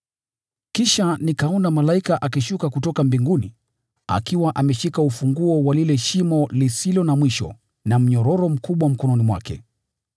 Kisha nikaona malaika akishuka kutoka mbinguni, akiwa ameshika ufunguo wa lile Shimo na mnyororo mkubwa mkononi mwake.